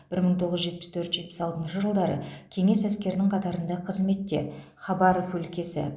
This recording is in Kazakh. бір мың тоғыз жүз жетпіс төрт жетпіс алтыншы жылдары кеңес әскерінің қатарында қызметте хабаров өлкесі